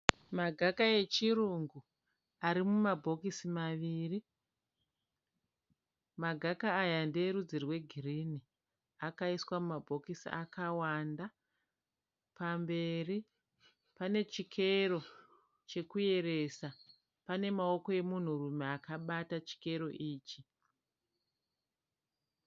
Magaka echirungu ari mumabhokisi maviri. Magaka aya ndeerudzi rwegirinhi. Akaiswa mumabhokisi akawanda. Pamberi pane chikero chekuyeresa. Pane maoko emunhurume akabata chikero ichi.